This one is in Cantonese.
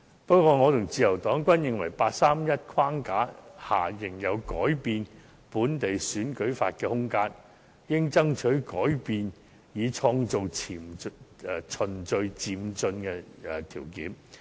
不過，我和自由黨均認為在八三一框架下，仍有改變本地選舉法的空間，故應爭取改變以創造循序漸進的條件。